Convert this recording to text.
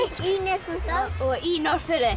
í Neskaupstað og í Norðfirði